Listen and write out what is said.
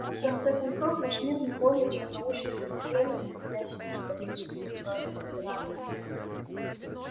в конце концов наш мир не более чем научное поселение находящееся под личным контролем императора